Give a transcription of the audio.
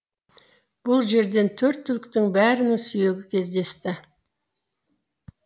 бұл жерден төрт түліктің бәрінің сүйегі кездесті